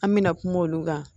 An mɛna kuma olu kan